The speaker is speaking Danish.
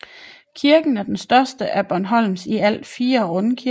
Kirken er den største af Bornholms i alt fire rundkirker